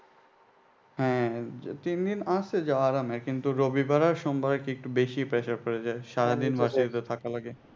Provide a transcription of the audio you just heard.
হ্যাঁ তিন দিন আরামে কিন্তু রবিবারে আর সোমবারে কি একটু বেশি pressure পড়ে যায় সারাদিন বাসায় তো থাকা লাগে।